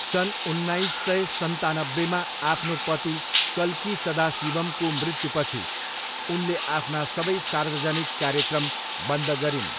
सन् उन्नाइस सय सन्तानब्बेमा आफ्नो पति कल्की सदाशिवम्को मृत्युपछि, उनले आफ्ना सबै सार्वजनिक कार्यक्रम बन्द गरिन्।